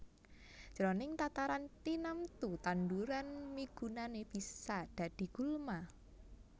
Jroning tataran tinamtu tanduran migunani bisa dadi gulma